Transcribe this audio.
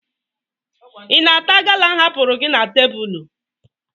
Ị na-ata gala m hapụrụ na tebụlụ?